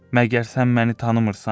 Məgər sən məni tanımırsan?